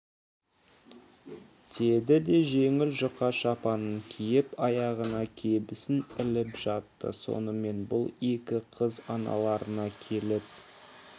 деді де жеңіл жұқа шапанын киіп аяғына кебісін іліп жатты сонымен бұл екі қыз аналарына келіп